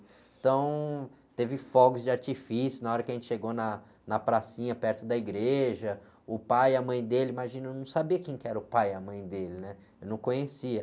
Então, teve fogos de artifício na hora que a gente chegou na, na pracinha perto da igreja, o pai e a mãe dele, imagina, eu não sabia quem que era o pai e a mãe dele, né? Eu não conhecia.